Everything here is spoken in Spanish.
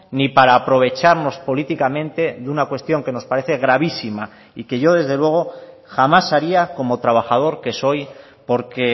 ni para aprovecharnos políticamente de una cuestión que nos parece gravísima y que yo desde luego jamás haría como trabajador que soy porque